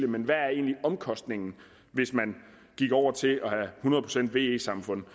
men hvad er egentlig omkostningen hvis man gik over til et samfund